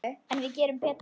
En við gerum betur.